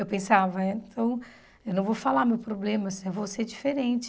Eu pensava, então, eu não vou falar meu problema, eu vou ser diferente.